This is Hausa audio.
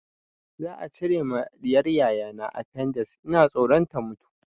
Za a cire ma ɗiyar yayana afendix, ina tsoron ta mutu.